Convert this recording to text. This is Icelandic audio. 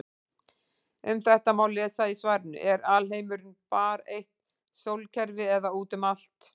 Um þetta má lesa í svarinu Er alheimurinn bara eitt sólkerfi eða út um allt?